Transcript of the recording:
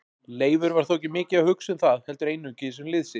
Leifur var þó ekki mikið að hugsa um það heldur einungis um lið sitt.